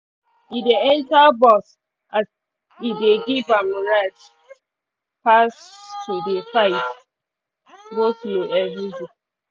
e dey enter bus as e dey give am rest pass to dey fight go-slow everyday.